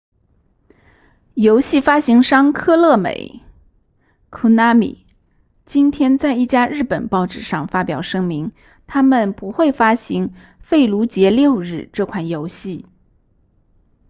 游戏发行商科乐美 konami 今天在一家日本报纸上发表声明他们不会发行费卢杰六日这款游戏